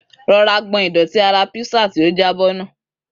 Rọra gbọn ìdọ̀tí ara písà tí ó jábọ́ nù.